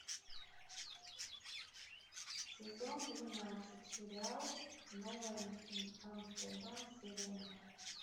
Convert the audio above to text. сезон двенадцать сериал новый амстердам серия два